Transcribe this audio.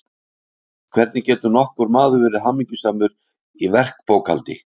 hvernig getur nokkur maður verið hamingjusamur í verkbókhaldi.